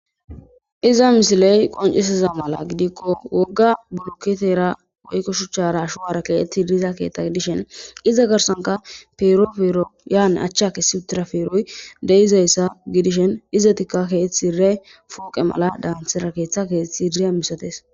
Iza misiley qoncisiza mala gidikko wogga burketera woykko shuchchara ashuwara keetti diza keeththay dishen iza garsanka peerofero yaan achcha kessi utira feroy de7izayssa gidishen izetikka keeththi re fooqe mala daanthira keeththa keeththi riya misates.